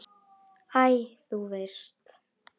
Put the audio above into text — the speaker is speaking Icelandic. Æ, þú veist.